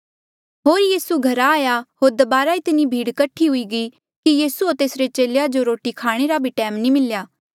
होर यीसू घरा आया होर दबारा इतनी भीड़ कठी हुई गयी कि यीसू होर तेसरे चेलेया जो रोटी खाणे रा टैम भी नी मिल्या